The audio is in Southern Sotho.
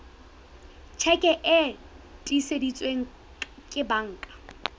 tjheke e tiiseditsweng ke banka